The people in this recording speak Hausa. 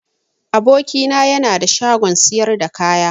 Aboki na yana da shagon siyar da kaya.